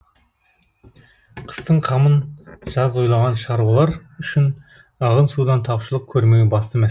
қыстың қамын жаз ойлаған шаруалар үшін ағын судан тапшылық көрмеу басты